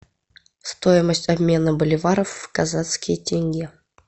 стоимость обмена боливаров в казахские тенге